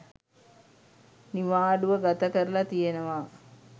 නිවාඩුව ගත කරලා තියෙනවා.